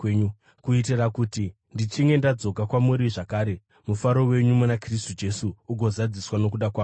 kuitira kuti ndichinge ndadzoka kwamuri zvakare, mufaro wenyu muna Kristu Jesu ugozadziswa nokuda kwangu.